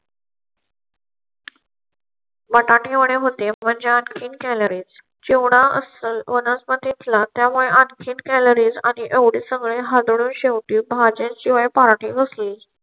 बटाटे वडे होते पण त्यात आणखी calories चिवडा असाल वनस्पतीतिला त्यामुळे आणखीन कॅलरी आणि एवढे सगळे शेवटी भाज्यांचे .